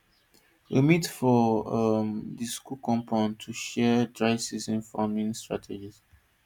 we meet for um di school compound to share dryseason farming strategies